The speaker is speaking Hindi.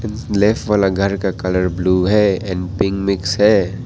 लेफ्ट वाला घर का कलर ब्लू है और पिंक मिक्स है।